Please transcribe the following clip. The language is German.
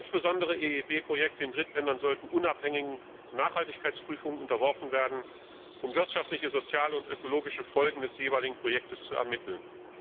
Insbesondere EIB Projekte in Drittländern sollten unabhängigen Nachhaltigkeitsprüfungen unterworfen werden, um wirtschaftliche, soziale und ökologische Folgen des jeweiligen Projektes zu ermitteln.